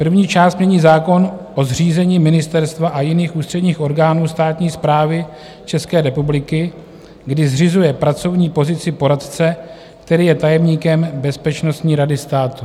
První část mění zákon o zřízení ministerstva a jiných ústředních orgánů státní správy České republiky, kdy zřizuje pracovní pozici poradce, který je tajemníkem Bezpečnostní rady státu.